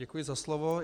Děkuji za slovo.